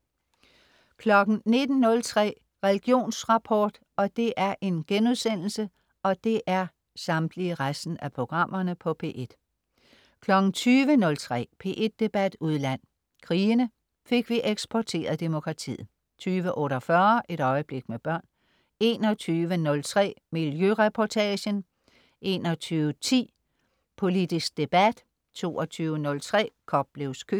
19.03 Religionsrapport* 20.03 P1 Debat udland: Krigene. Fik vi eksporteret demokratiet?* 20.48 Et øjeblik med børn* 21.03 Miljøreportagen* 21.10 Politisk debat* 22.03 Koplevs Køkken*